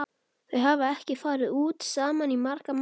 Þau hafa ekki farið út saman í marga mánuði.